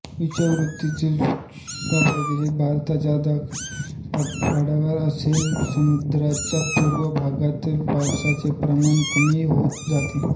विषववृतीय शुष्क प्रदेश भारताच्या दख्खनच्या पठारावर तसेच सह्याद्रीच्या पुर्व भागात पावसाचे प्रमाण कमी होत जाते